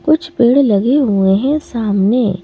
कुछ पेड़ लगे हुए हैं सामने--